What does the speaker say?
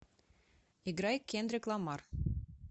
играй кендрик ламар